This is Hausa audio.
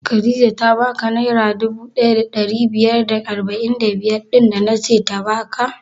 Khadijah ta ba ka naira dubu ɗaya da ɗari biyar da arba'in da biyar ɗin da nace ta baka?